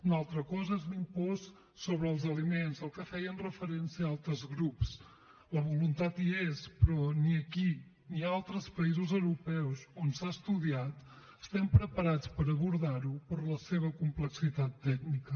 una altra cosa és l’impost sobre els aliments al que feien referència altres grups la voluntat hi és però ni aquí ni a altres països europeus on s’ha estudiat estem preparats per abordar ho per la seva complexitat tècnica